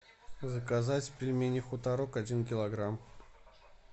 заказать пельмени хуторок один килограмм